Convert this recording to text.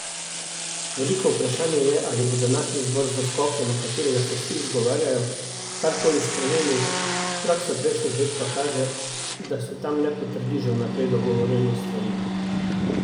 Veliko vprašanje je, ali bo današnji zbor za skoke, na katerega se vsi izgovarjajo, karkoli spremenil, praksa prejšnjih let kaže, da se tam le potrdi že vnaprej dogovorjene stvari.